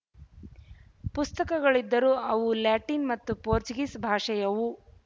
ಪುಸ್ತಕಗಳಿದ್ದರೂ ಅವು ಲ್ಯಾಟಿನ್ ಮತ್ತು ಪೋರ್ಚುಗೀಸ್ ಭಾಷೆಯವು